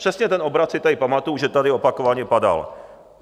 Přesně ten obrat si tady pamatuji, že tady opakovaně padal.